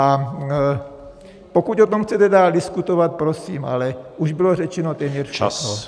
A pokud o tom chcete dál diskutovat, prosím, ale už bylo řečeno téměř všechno.